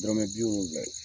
Dɔrɔmɛ bi woronfla.